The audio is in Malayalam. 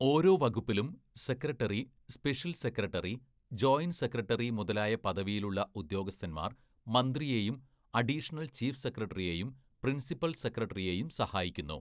ഓരോ വകുപ്പിലും secretary, special secretary, joint secretary മുതലായ പദവിയിലുള്ള ഉദ്യോഗസ്ഥന്മാര്‍ മന്ത്രിയെയും അഡീഷണൽ ചീഫ് സെക്രട്ടറിയെയും പ്രിൻസിപ്പൽ സെക്രട്ടറിയെയും സഹായിക്കുന്നു.